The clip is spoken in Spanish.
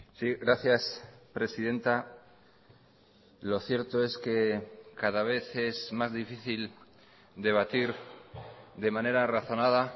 sí gracias presidenta lo cierto es que cada vez es más difícil debatir de manera razonada